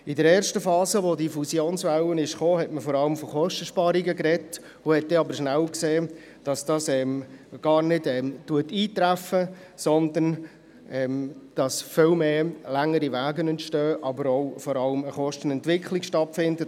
In der ersten Phase der Fusionswelle sprach man vor allem von Kosteneinsparungen, aber man stellte dann rasch fest, dass diese gar nicht eintreffen, sondern dass viel längere Wege entstehen und vor allem eine Kostenentwicklung stattfindet.